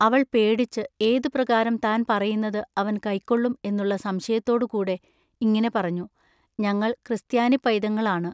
അവൾ പേടിച്ചു ഏതുപ്രകാരം താൻ പറയുന്നതു അവൻ കയ്ക്കൊള്ളും എന്നുള്ള സംശയത്തോടു കൂടെ ഇങ്ങിനെ പറഞ്ഞു ഞങ്ങൾ ക്രിസ്ത്യാനിപ്പൈതങ്ങൾ ആണു.